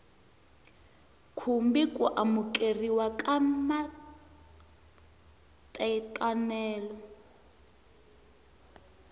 khumbi ku amukeriwa ka matekanelo